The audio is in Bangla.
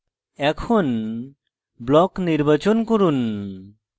এখন block নির্বাচন করুন